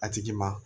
A tigi ma